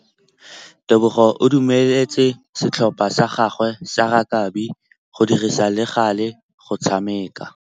Tebogô o dumeletse setlhopha sa gagwe sa rakabi go dirisa le galê go tshameka.